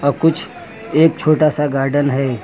कुछ एक छोटा सा गार्डन है।